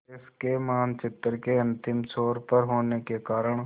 देश के मानचित्र के अंतिम छोर पर होने के कारण